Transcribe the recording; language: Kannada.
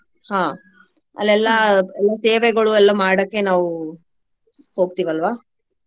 ಹಾ ಎಲ್ಲಾ ಸೇವೆಗಳು ಎಲ್ಲಾ ಮಾಡಾಕೆ ನಾವು ಹೋಗ್ತಿವಲ್ವಾ.